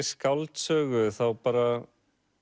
skáldsögu þá bara